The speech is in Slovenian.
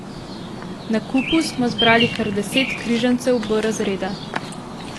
Na kupu smo zbrali kar deset križancev B razreda.